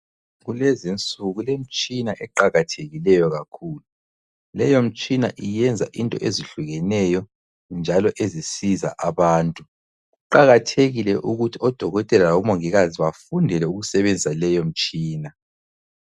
Kulezi insuku kulemtshina eqakathekileyo kakhulu. Leyo umtshina yenza into ezehlukeneyo, njalo ezisiza abantu. Kuqakathekile ukuthi odokotela labomongikazi bafundele ukusebenza leyo mtshina